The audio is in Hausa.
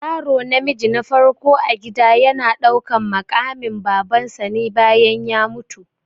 Yaro namiji na farko a gida yana ɗaukan maƙamin baban sa ne bayan ya mutu